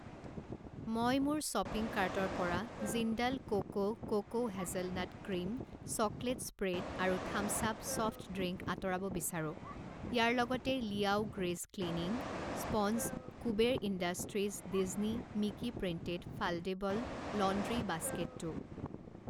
মই মোৰ শ্বপিং কাৰ্টৰ পৰা Jindal coco coco hazelnut cream chocolate spread আৰু থাম্ছ আপ ছফ্ট ড্ৰিংক আঁতৰাব বিচাৰো। ইয়াৰ লগতে Liao grease cleaning sponge, Kuber industries Disney Mickey printed foldable laundry বাস্কেটো।